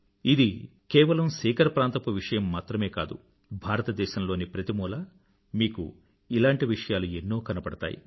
ఇది కేవలం సీకర్ ప్రాంతపు విషయం మాత్రమే కాదు భారతదేశం లోని ప్రతి మూలా మీకు ఇలాంటి విషయాలు ఎన్నో కనబడతాయి